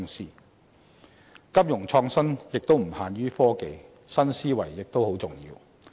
促進金融創新發展的因素亦不限於科技，新思維亦很重要。